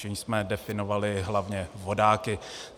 Čímž jsme definovali hlavně vodáky.